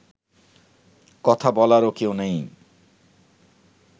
কথা বলারও কেউ নেই